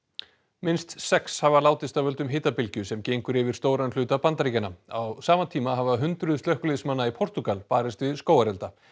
minnst sex hafa látist af völdum hitabylgju sem gengur yfir stóran hluta Bandaríkjanna á sama tíma hafa hundruð slökkviliðsmanna í Portúgal barist við skógarelda